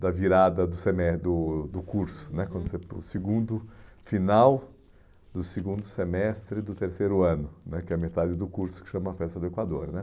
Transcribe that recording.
da virada do semes do do curso né, quando você do segundo final do segundo semestre do terceiro ano né, que é a metade do curso que chama Festa do Equador né